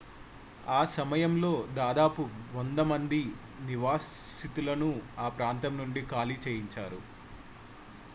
ఆ సమయంలో దాదాపు 100 మంది నివాసితులను ఆ ప్రాంతం నుండి ఖాళీ చేయించారు